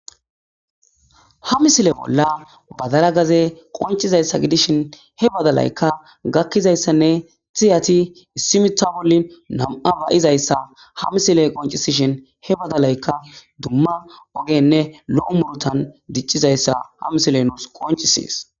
Ha misile bolla badala gaze qoncizayssa gidishin he badalaykka gakkizayssanne tiyati issimita bollin nam'a bayizayssa ha misile qoncisishin he badalayka dumma ogenne lo'o murutan diccizayssa ha misile nuus qoncisees